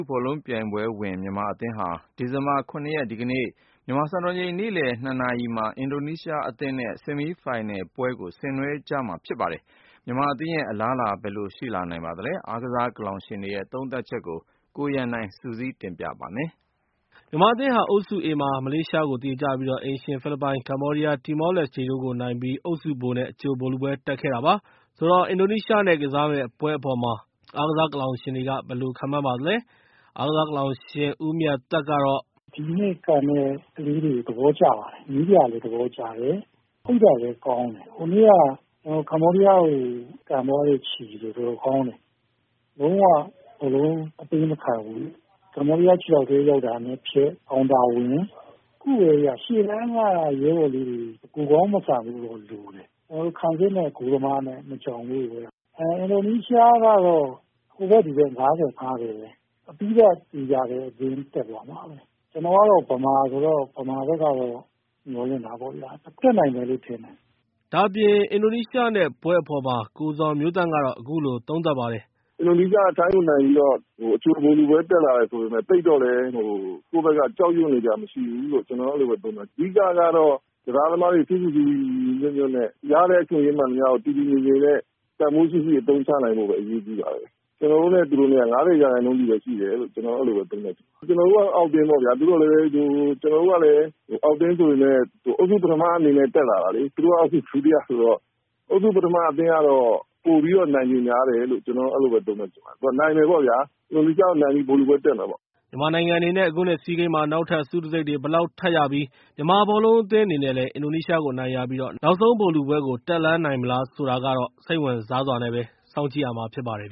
ဘောလုံးပြိုင်ပွဲဝင် မြန်မာအသင်းဟာ ဒီဇင်ဘာလ ၇ ရက်၊ စနေနေ့ မြန်မာစံတော်ချိန် နေ့လည် ၂ နာရီမှာ ဆီမီးဖိုင်နယ်လ်ပွဲအဖြစ် အင်ဒိုနီးရှားအသင်းနဲ့ ယှဉ်ပြိုင်ကစားရပါမယ်။ ဒီပွဲမှာ မြန်မာအသင်းရဲ့ အလားအလာ ဘယ်လိုရှိလာနိုင်ပါသလဲ… အားကစားကလောင်ရှင်တွေရဲ့ သုံးသပ်ချက်တွေကို ကိုရန်နိုင်က စုစည်း တင်ပြထားပါတယ်။ မြန်မာအသင်းဟာ အုပ်စု A မှာ အိမ်ရှင်ဖိလစ်ပိုင်၊ ကမ္ဘောဒီးယား၊ တီမောလက်စတေတို့ကိုနိုင်ပြီး မလေးရှားကိုသရေနဲ့ အုပ်စု ဗိုလ်နဲ့ အကြိုဗိုလ်လုပွဲ တက်ခဲ့တာပါ။ ဆိုတော့ အင်ဒိုနီးရှားနဲ့ ကစားမယ့်ပွဲအပေါ်မှာ အားကစားကလောင်ရှင်တွေက ဘယ်လိုခန့်မှန်းပါသလဲ။ အားကစားကလောင်ရှင် ဦးမြတ်သက်ကတော့ မြန်မာအသင်းအနေနဲ့ “ဒီကနေ့ ကန်မယ့် ကလေးတွေကို သဘောကျတယ်။ နည်းပြလည်း သဘောကျပါတယ်။ ဟိုနေ့က ကမ္ဘောဒီးယားကို ကန်သွားတဲ့ ခြေတွေ တော်တေ်ာကောင်းတယ် လုံး၀ ဘောလုံးအပေးမခံဘူး။ ကမ္ဘောဒီးယား ခြေထောက်ထဲရောက်တာနဲ့ ဖြတ်တယ်။ ရှေ့တန်းက လူတွေ တကိုယ်ကောင်းမဆန်ဖို့တော့လိုတယ် ကျနော်တို့တို့ ခံစစ်နဲ့ ဂိုးသမားမကျွံ ဖို့ပဲ။ အင်ဒိုနီးရှားကတော့ ဟိုဘက် ဒီဘက် ၅၀-၅၀ ပဲ ပြီးတော့ ဗိုလ်လုပွဲ တက်သွားမယ်။ ကျနော်တို့က မြန်မာဘက်ကတော့ မျှော်လင့်ထားပါတယ် တက်နိုင်မယ်လို့ ထင်တယ်။” ဒါ့အပြင် ကိုဇော်မျိုးသန့်ကတော့ အင်ဒိုနီးရှားနဲ့ပွဲအပေါ် အခုလိုသုံးသပ်ပါတယ်။ “အင်ဒိုနီးရှားက ထိုင်းကိုနိုင်ပြီးတော့ အကြိုဗိုလ်လုပွဲ တက်လာတယ်ဆိုပေမယ့် သိပ်တော့ ကိုယ့်ဘက်က ကြောက်နေစရာမရှိဘူးလို့ ကျနော်ကတော့ အဲလိုသုံးသပ်ချင်တယ်။ အဓိကတော့ ကစားသမားတွေ ဖိဖိစီးစီး ညီညီညွှတ်ညွတ်နဲ့ ရတဲ့အချိန်လေးတွေ တည်တည်ငြိမ်ငြိမ် တန်ဖိုးရှိရှိ အသုံးချနိုင်ဖို့အရေးကြီးတယ် ကျနော်တို့နဲ့ သူတို့နဲ့ ၅၀ ရာခိုင်နှုန်းစီပဲ ရှိတယ်လို့ ကျနေ်ာအဲလို သုံးသပ်ချင်တယ်။ ကျနေ်ာတို့က အောက်အသင်းပေ့ါဗျာ သို့သော်လည်း အောက်အသင်းဆိုပေမယ် အုပ်စု ပထမအနေနဲ့ တက်လာတာလေ၊ သူတို့က အုပ်စု ဒုတိယဆိုတော့ အုပ်စု ပထမအသင်းကတော့ ပိုပြီးတော့ နိုင်ခြေများတယ်လို့ ကျနော်အဲလိုပဲ သုံးသပ်ချင်ပါတယ်။ နိုင်မယ်ပေါ့ဗျာ အင်ဒိုနီးရှားကို နိုင်ပြီး ဗိုလ်လုပွဲ တက်မယ်ပေါ့ဗျာ။” မြန်မာနိုင်ငံအနေနဲ့ အခုနှစ် ဆီးဂိမ်းမှာ နောက်ထပ် ဆုတံဆိပ်တွေ ဘယ်လောက်ထပ်ရပြီး၊ မြန်မာဘောလုံးအသင်းအနေနဲ့လည်း အင်ဒိုနီးရှားကို အနိုင်ရပြီး နောက်ဆုံးဗိုလ်လုပွဲကို တက်လှမ်းနိုင်မလားဆိုတာကတော့ စိတ်ဝင်စားစွာနဲ့ပဲ စောင့်ကြည့်ရမှာဖြစ်ပါတယ်